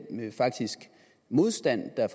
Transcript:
den faktiske modstand der